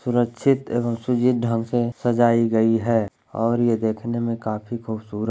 सुरक्षित एवं सुजीत ढंग से सजाई गयी है और ये देखने में काफी खुबसूरत --